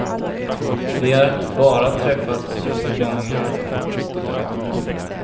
Vi har bara träffats två gånger.